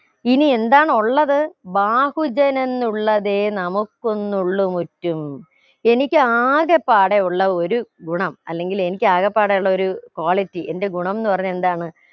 ഇനിയെന്താണ് ഉള്ളത് ബാഹുജനെന്നുള്ളതേ നമുക്കൊന്നുള്ളുമുറ്റും എനിക്ക് ആകെപ്പാടെ ഉള്ള ഒരു ഗുണം അല്ലെങ്കിൽ എനിക്ക് ആകപ്പാടെ ഉള്ള ഒരു quality എന്റെ ഗണംന്ന് പറഞ്ഞാ എന്താണ്